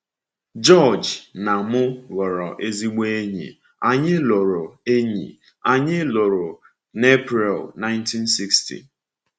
George na m ghọrọ ezigbo enyi, anyị lụrụ enyi, anyị lụrụ n’April 1960.